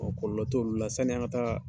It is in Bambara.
kɔlɔlɔ t'olu la sani an ga taa